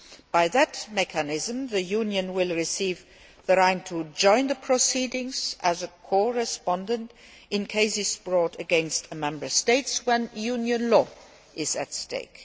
By that mechanism, the Union will receive the right to join the proceedings as a co respondent in cases brought against Member States when Union law is at stake.